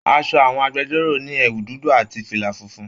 Aṣọ àwọn agbẹ̀jọ́ro ní ẹwù dúdú àti fila fúnfún.